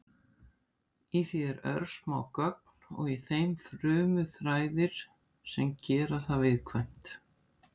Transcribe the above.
Í því eru örsmá göng og í þeim frumuþræðir sem gera það viðkvæmt.